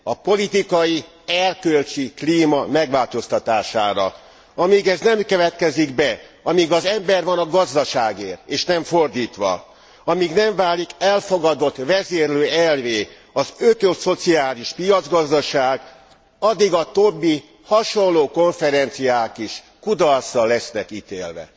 A politikai erkölcsi klíma megváltoztatására. Amíg ez nem következik be, amíg az ember van a gazdaságért, és nem fordítva, amíg nem válik elfogadott vezérlőelvvé az ökoszociális piacgazdaság, addig a többi hasonló konferenciák is kudarcra lesznek ítélve.